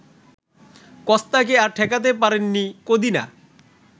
কস্তাকে আর ঠেকাতে পারেননি কদিনা